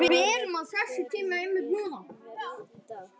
Nóni, hvernig er veðrið í dag?